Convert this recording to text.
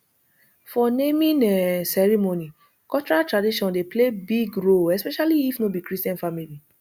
for naming um ceremony cultural tradition dey play big role especially if no be christian family